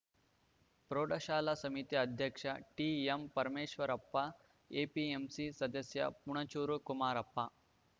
ಪ್ರೌಢಶಾಲಾ ಸಮಿತಿ ಅಧ್ಯಕ್ಷ ಟಿಎಂಪರಮೇಶ್ವರಪ್ಪ ಎಪಿಎಂಸಿ ಸದಸ್ಯ ಪುಣಜೂರು ಕುಮಾರಪ್ಪ